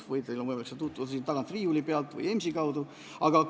Teil on võimalik ka praegu sellega tutvuda, leiate selle sealt tagant riiuli pealt või ka EMS-i kaudu.